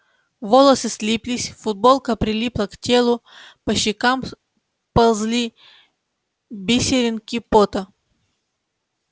волосы слиплись футболка прилипла к телу по щекам ползли бисеринки пота